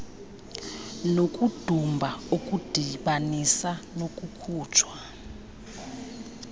nokudumba okudibanisa nokukhutshwa